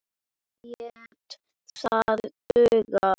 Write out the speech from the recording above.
Lét það duga.